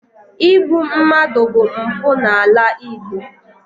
Igbu mmadụ bụ mpụ n’ala Igbo.